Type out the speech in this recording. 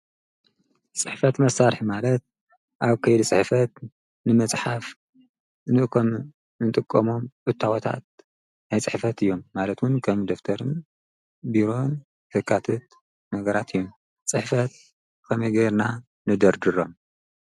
ፅሕፈት መሳሪሒ ማለት ኣብ ከይዲ ፅሕፈት ንመፅሓፍ እንጥቀሞ እታዎታት ናይ ፅሕፈት እዮም። ማለት እውን ከም ደፍተር ፣ቢሮን ዘካትት ነገራት እዮም። ፅሕፈት ከመይ ጌርና ንደርድሮም?